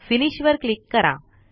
finish वर click करा